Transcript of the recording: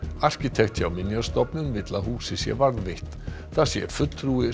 arkitekt hjá Minjastofnun vill að húsið sé varðveitt það sé fulltrúi